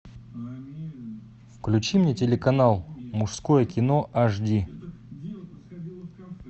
включи мне телеканал мужское кино ашди